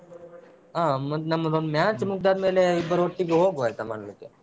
ಹ ಮತ್ತೆ ನಮ್ಮದೊಂದು match ಮುಗ್ದಾದ್ದ್ಮೇಲೆ ಇಬ್ಬರು ಒಟ್ಟಿಗೆ ಹೋಗುವ ಆಯ್ತಾ ಮಾಡ್ಲಿಕೆ.